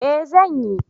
Eh, zan yi.